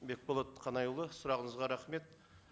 бекболат қанайұлы сұрағыңызға рахмет